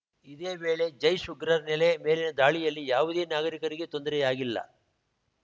ಇದೇ ವೇಳೆ ಜೈಷ್‌ ಉಗ್ರ ನೆಲೆ ಮೇಲಿನ ದಾಳಿಯಲ್ಲಿ ಯಾವುದೇ ನಾಗರಿಕರಿಗೆ ತೊಂದರೆಯಾಗಿಲ್ಲ